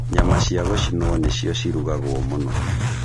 Nyama cia gũcinwo nĩcio cirugagwo mũno.